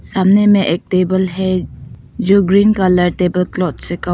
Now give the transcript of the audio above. सामने में एक टेबल है जो ग्रीन कलर टेबल क्लॉथ्स से कवर्ड --